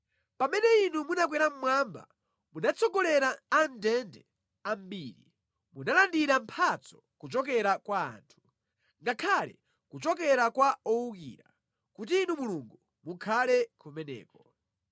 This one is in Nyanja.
Pamene Inu munakwera mmwamba, munatsogolera a mʼndende ambiri; munalandira mphatso kuchokera kwa anthu, ngakhale kuchokera kwa owukira, kuti Inu Mulungu, mukhale kumeneko.